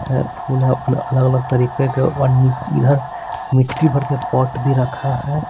है फूल है अलग अलग तरीके के और नीचे इधर मिट्टी भर के पॉट भी रखा है।